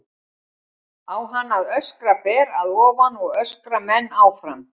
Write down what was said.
Á hann að standa ber að ofan og öskra menn áfram?